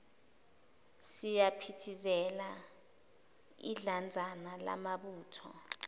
siyaphithizela idlanzana lamabutho